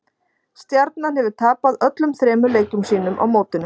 Stjarnan hefur tapað öllum þremur leikjum sínum á mótinu.